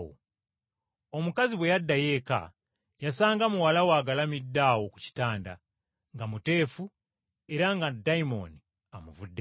Omukazi bwe yaddayo eka yasanga muwala we agalamidde awo ku kitanda, nga muteefu era nga dayimooni amuvuddeko.